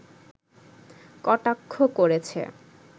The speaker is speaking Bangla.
কটাক্ষ করেছে